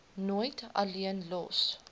nooit alleen los